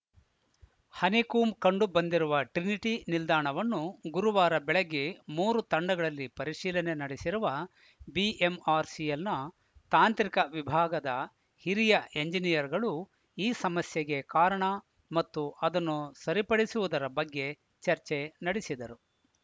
honeycomb ಕಂಡು ಬಂದಿರುವ Trinity ನಿಲ್ದಾಣವನ್ನು ಗುರುವಾರ ಬೆಳಗ್ಗೆ ಮೂರು ತಂಡಗಳಲ್ಲಿ ಪರಿಶೀಲನೆ ನಡೆಸಿರುವ ಬಿಎಂಆರ್‌ಸಿಎಲ್‌ನ ತಾಂತ್ರಿಕ ವಿಭಾಗದ ಹಿರಿಯ ಎಂಜಿನಿಯರ್‌ಗಳು ಈ ಸಮಸ್ಯೆಗೆ ಕಾರಣ ಮತ್ತು ಅದನ್ನು ಸರಿಪಡಿಸುವುದರ ಬಗ್ಗೆ ಚರ್ಚೆ ನಡೆಸಿದರು